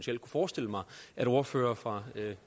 forestille mig at ordførere fra la